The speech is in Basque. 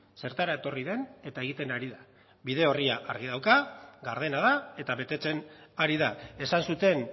zertara etorri den eta egiten ari da bide orria argi dauka gardena da eta betetzen ari da esan zuten